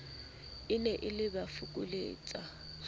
e ne e ba fokoletsa